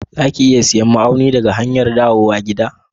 Za ki iya siyan ma'aunin daga hanyar dawowa gida?